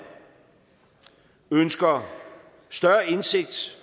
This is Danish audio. ønsker større indsigt